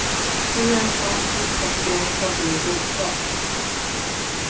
Hur en sådan uttaxering skall ske är oklart.